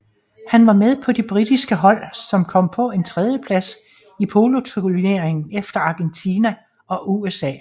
Han var med på det britiske hold som kom på en tredjeplads i poloturneringen efter Argentina og USA